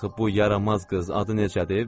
Axı bu yaramaz qız, adı necədir?